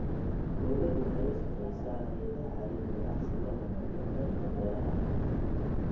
Dawladdu waxay la shaqaysaa hay'adaha caalamiga ah si loo horumariyo qaybta beeraha.